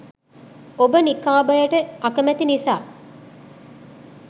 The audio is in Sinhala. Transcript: ඔබ නිකාබයට අකමැති නිසා